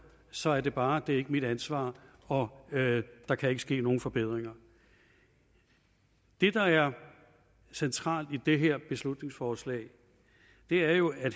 så er svaret bare det er ikke mit ansvar og der kan ikke ske nogen forbedringer det der er centralt i det her beslutningsforslag er jo at